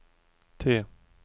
T